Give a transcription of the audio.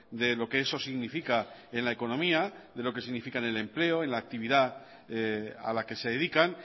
de lo que eso significa en la economía de lo que significa en el empleo en la actividad a la que se dedican